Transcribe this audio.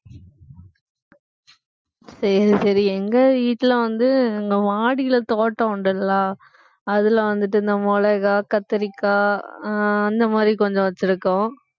சரி சரி எங்க வீட்டுல வந்து எங்க மாடியில தோட்டம் உண்டுல்ல அதுல வந்துட்டு இந்த மிளகாய், கத்திரிக்காய் அஹ் அந்த மாதிரி கொஞ்சம் வச்சிருக்கோம்